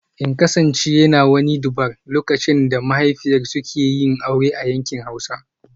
In kasance yana wani 'Durbar' lokacin da mahaifiyar suke yi aure a yankin Hausa